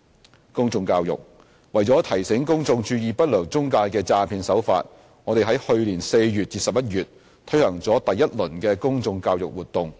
b 公眾教育為了提醒公眾注意不良中介的詐騙手法，我們在去年4月至11月推行了第一輪公眾教育活動，